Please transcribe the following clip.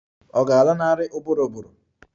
Ọ̀ ga-alanarị ụbụrụ ụbụrụ?